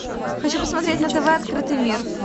хочу посмотреть на тв открытый мир